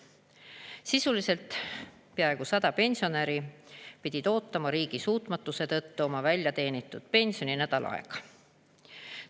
Sisuliselt peaaegu 100 pensionäri pidid ootama riigi suutmatuse tõttu oma väljateenitud pensioni nädal aeg.